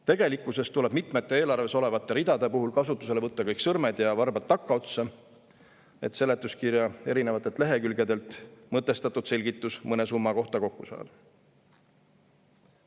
Tegelikkuses tuleb mitmete eelarves olevate ridade puhul kasutusele võtta kõik sõrmed ja varbad takkaotsa, et seletuskirja erinevatelt lehekülgedelt mõtestatud selgitus mõne summa kohta kokku saada.